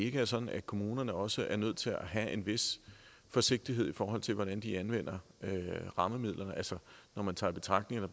ikke er sådan at kommunerne også er nødt til at have en vis forsigtighed i forhold til hvordan de anvender rammemidlerne altså når man tager i betragtning at